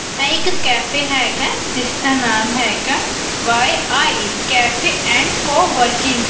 ਐ ਇਕ ਕੈਫੇ ਹੈਗਾ ਜਿਸਦਾ ਨਾਮ ਹੈਗਾ Y I cafe and coworking --